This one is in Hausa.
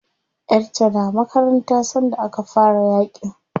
Yar ta na makaranta sanda aka fara yaƙin.